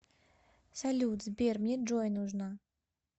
салют сбер мне джой нужна